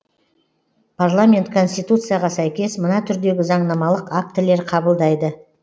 парламент конституцияға сәйкес мына түрдегі заңнамалық актілер қабылдайды